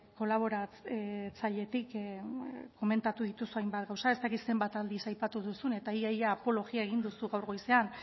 kolaboratzailetik komentatu dituzu hainbat gauza ez dakit zenbat aldiz aipatu duzun eta ia ia apologia egin duzu gaur goizean